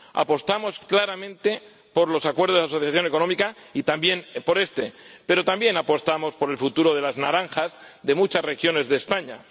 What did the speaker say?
Apostamos claramente por los acuerdos de asociación económica y también por este, pero también apostamos por el futuro de las naranjas de muchas regiones de España.